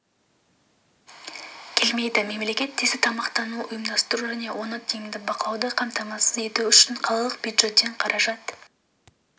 келмейді мемлекет тиісті тамақтануды ұйымдастыру және оны тиімді бақылауды қамтамасыз ету үшін қалалық бюджеттен қаражат